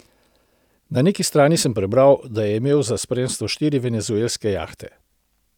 Na neki strani sem prebral, da je imel za spremstvo štiri venezuelske jahte.